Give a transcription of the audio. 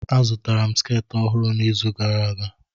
Azụtara m sketị ọhụrụ n'izu gara aga.